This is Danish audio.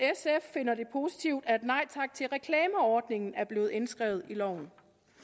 finder det positivt at nej tak til reklamer ordningen er blevet indskrevet i loven